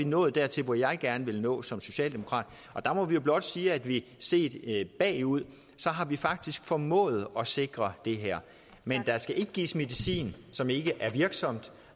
nået dertil hvor jeg gerne vil nå som socialdemokrat der må vi jo blot sige at vi set bagud faktisk har formået at sikre det her men der skal ikke gives medicin som ikke er virksom